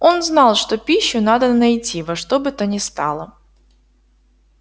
он знал что пищу надо найти во что бы то ни стало